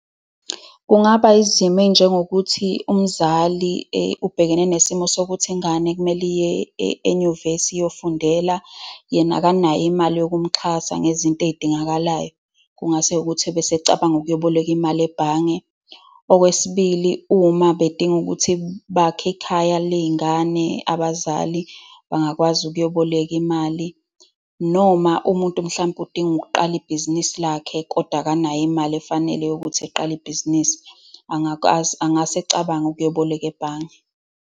Kungaba izimo ey'njengokuthi umzali ubhekene nesimo sokuthi ingane kumele iye enyuvesi, iyofundela, yena akanayo imali yokumxhasa ngezinto ey'dingakalayo. Kungase ukuthi bese ecabanga ukuyoboleka imali ebhange. Okwesibili, uma bedinga ukuthi bakhe ekhaya ley'ngane, abazali bangakwazi ukuyoboleka imali. Noma umuntu mhlampe udinga ukuqala ibhizinisi lakhe, kodwa akanayo imali efanele yokuthi eqale ibhizinisi, angakwazi, angase acabanga ukuyoboleka ebhange.